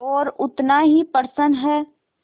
और उतना ही प्रसन्न है